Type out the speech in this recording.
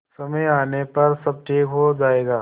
समय आने पर सब ठीक हो जाएगा